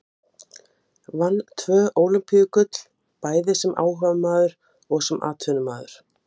Sjúkdómur hafði Valdimar sagt.